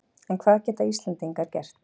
En hvað geta Íslendingar gert?